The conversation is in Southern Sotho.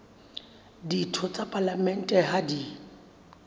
ditho tsa palamente ha di